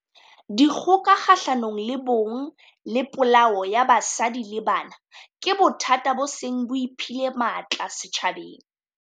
Dikgoka kgahlano le bong le polao ya basadi le banana ke bothata bo seng bo iphile matla setjhabeng.